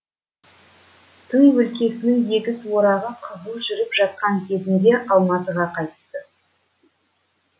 тың өлкесінің егіс орағы қызу жүріп жатқан кезінде алматыға қайтты